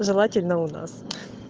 желательно у нас